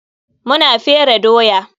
Mu na fere doya.